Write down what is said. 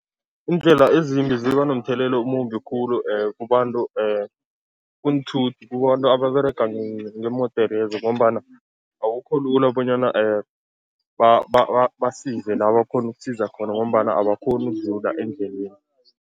Iindlela ezimbi ziba nomthelela omumbi khulu kubantu kunthuthi, kubantu ababerega ngeemoderezo ngombana akukho lula bonyana basize la bakghona ukusiza khona ngombana abakghoni ukudlula endleleni.